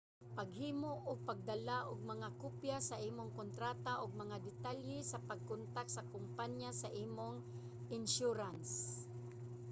paghimo ug pagdala og mga kopya sa imong kontrata ug mga detalye sa pagkontak sa kompaniya sa imong insyurans